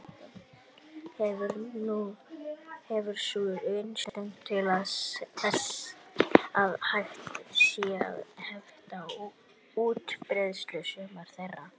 Hefur sú vitneskja dugað til þess að hægt sé að hefta útbreiðslu sumra þeirra.